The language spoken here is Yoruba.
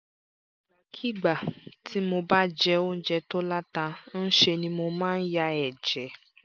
ìgbàkigbà tí mo bá jẹ oúnjẹ tó láta ń ṣe ni mo máa ń ya ẹ̀jẹ̀